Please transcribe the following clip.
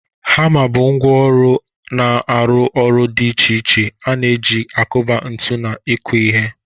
Hama bụ ngwá ọrụ na aru oru dị iche iche a na-eji akuba ntu na ịkụ ihe.